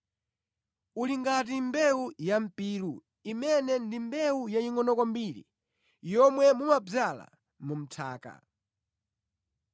Uli ngati mbewu ya mpiru imene ndi mbewu yayingʼono kwambiri yomwe mumadzala mʼnthaka.